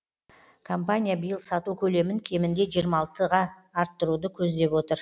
компания биыл сату көлемін кемінде жиырма алтыға арттыруды көздеп отыр